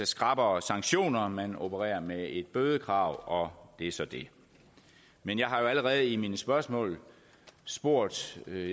skrappere sanktioner man opererer med et bødekrav og det er så det men jeg har jo allerede i mine spørgsmål spurgt jeg vil